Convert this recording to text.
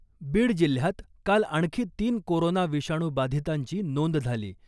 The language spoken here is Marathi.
बीड जिल्ह्यात काल आणखी तीन कोरोना विषाणू बाधितांची नोंद झाली .